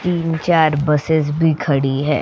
तीन-चार बसेस भी खड़ी हैं --